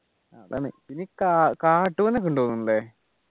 അതാണ് നീ കാ കാട്ടു